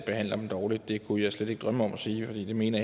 behandler dem dårligt det kunne jeg slet ikke drømme om at sige og det mener